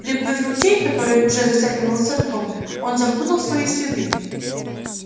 переплыв ручей который уже затягивался льдом он запутал свои следы